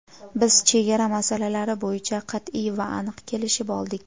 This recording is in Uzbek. Biz chegara masalalari bo‘yicha qat’iy va aniq kelishib oldik.